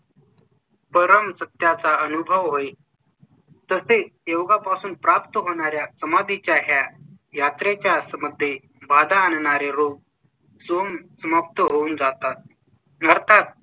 परम सत्या चा अनुभव होईल. तसे योगा पासून प्राप्त होणार् या समाधी च्या यात्रेच्या आसाम मध्ये बाधा आणणारे रूम सोन समाप्त होऊन जातात करतात.